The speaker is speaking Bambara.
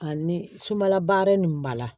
Ani sumala baara nin b'a la